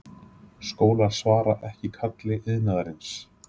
Skólar svara ekki kalli iðnaðarins